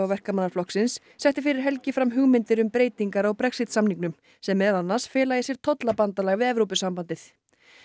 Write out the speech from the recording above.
Verkamannaflokksins setti fyrir helgi fram hugmyndir um breytingar á Brexit samningnum sem meðal annars fela í sér tollabandalag við Evrópusambandið